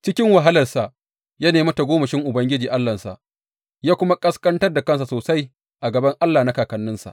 Cikin wahalarsa ya nemi tagomashin Ubangiji Allahnsa ya kuma ƙasƙantar da kansa sosai a gaban Allah na kakanninsa.